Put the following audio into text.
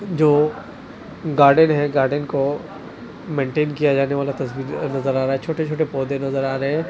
जो गार्डन है गार्डन को मेंटेन किया जाने वाला तस्वीर नजर आ रहा है छोटे-छोटे पौधे नजर आ रहे हैं।